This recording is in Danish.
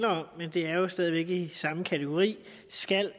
om men det er jo stadig væk i samme kategori skal